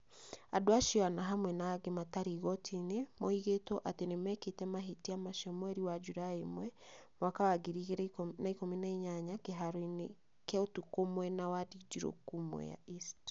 Andũ acio ana hamwe na angĩ matarĩ igoti-inĩ, moigĩtwo atĩ nĩ mekĩte mahĩtia macio mweri wa Julaĩ 1, 2018, kĩharo-inĩ kĩa ũtukũ mwena wa Ndindiruku, Mwea East.